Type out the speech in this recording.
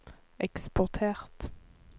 eksportert